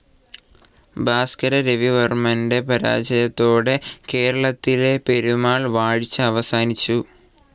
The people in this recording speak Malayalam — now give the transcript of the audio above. ഭാസ്കര രവിവർമ്മന്റെ പരാജയത്തോടെ കേരളത്തിലെ പെരുമാൾ വാഴ്ച അവസാനിച്ചു.